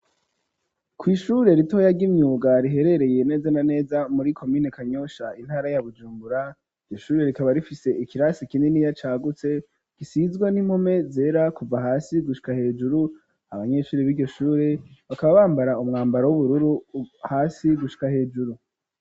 Kw' ishure ritoya ry'imyuga riherereye neza na neza muri komine kanyosha, intara ya bujumbura, ishuri rikaba rifise ikirasi kininiya cagutse gisizwe n'impume zera ,kuva hasi gushika hejuru, abanyeshuri b'iryoshuri bakaba bambara umwambaro w'ubururu, hasi gushika hejuru.